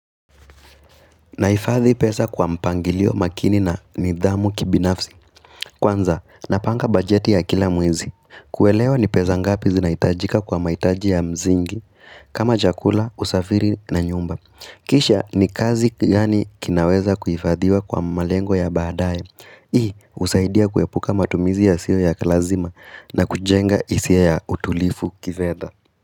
Nahifadhi pesa kwa mpangilio makini na nidhamu kibinafsi. Kwanza, napanga bajeti ya kila mwezi. Kuelewa ni pesa ngapi zinahitajika kwa mahitaji ya msingi. Kama chakula, usafiri na nyumba. Kisha ni kiasi gani kinaweza kuhifadhiwa kwa malengo ya baadaye. Hii, husaidia kuepuka matumizi yasiyo ya lazima na kujenga hisia ya utulivu kifedha.